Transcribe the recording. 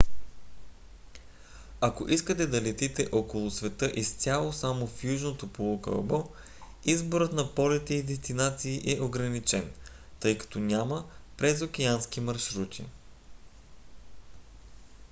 ако искате да летите около света изцяло само в южното полукълбо изборът на полети и дестинации е ограничен тъй като няма презокеански маршрути